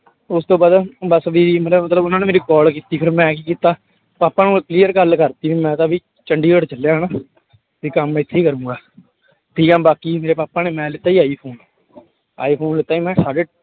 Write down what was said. ਉਸ ਤੋਂ ਬਾਅਦ ਬਸ ਵੀ ਮੇਰਾ ਮਤਲਬ ਉਹਨਾਂ ਨੇ ਮੇਰੀ call ਕੀਤੀ ਫਿਰ ਮੈਂ ਕੀ ਕੀਤਾ ਪਾਪਾ ਨੂੰ clear ਗੱਲ ਕਰ ਦਿੱਤੀ ਵੀ ਮੈਂ ਤਾਂ ਵੀ ਚੰਡੀਗੜ੍ਹ ਚੱਲਿਆ ਹਨਾ ਤੇ ਕੰਮ ਇੱਥੇ ਹੀ ਕਰਾਂਗਾ, ਠੀਕ ਹੈ ਬਾਕੀ ਮੇਰੇ ਪਾਪਾ ਨੇ ਮੈਂ ਲਿੱਤਾ ਸੀ ਆਈਫ਼ੋਨ ਆਈਫ਼ੋਨ ਲਿੱਤਾ ਸੀ ਮੈਂ ਸਾਢੇ